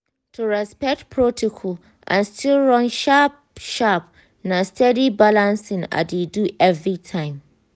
to respect protocol and still run work sharp-sharp na steady balancing i dey do every time.